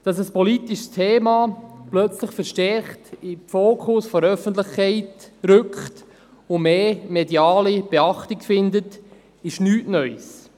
Dass ein politisches Thema plötzlich verstärkt in den Fokus der Öffentlichkeit rückt und mehr mediale Beachtung findet, ist nichts Neues.